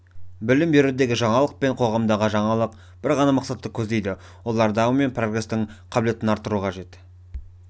білім берудегі жаңалық пен қоғамдағы жаңалық бір ғана мақсатты көздейді олар даму мен прогрестің қабілетін арттыруы қажет